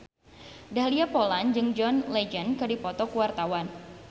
Dahlia Poland jeung John Legend keur dipoto ku wartawan